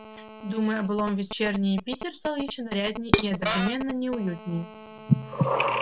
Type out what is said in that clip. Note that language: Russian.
думы о былом вечерний питер стал ещё наряднее и одновременно неуютнее